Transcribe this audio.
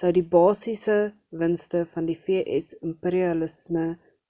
sou die basisiese winste van die v.s. imperialisme uitmaak